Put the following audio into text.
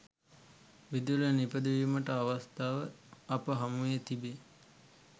විදුලිය නිපදවීමට අවස්ථාව අප හමුවේ තිබේ